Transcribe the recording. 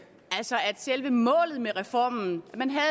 altså selve målet med reformen man havde